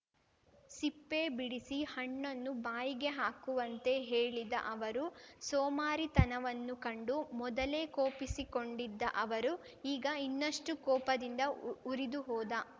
ಸಿಪ್ಪೆ ಬಿಡಿಸಿ ಹಣ್ಣನ್ನು ಬಾಯಿಗೆ ಹಾಕುವಂತೆ ಹೇಳಿದ ಅವರು ಸೋಮಾರಿತನವನ್ನು ಕಂಡು ಮೊದಲೇ ಕೋಪಸಿಕೊಂಡಿದ್ದ ಅವರು ಈಗ ಇನ್ನಷ್ಟುಕೋಪದಿಂದ ಉರಿದುಹೋದ